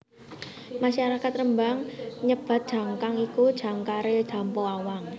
Masyarakat Rembang nyebat jangkar iku jangkare Dampo Awang